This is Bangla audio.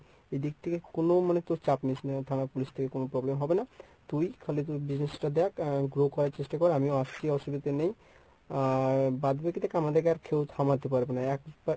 এদিক থেকে কোনো মানে তোর চাপ নিস নে থানা police থেকে কোনো problem হবে না। তুই খালি তুই business টা দেখ আর grow করার চেষ্টা কর আমিও আসছি অসুবিধা নেই। আর বাদ বাকী থেকে আমাদের আর কেউ থামাতে পারবে না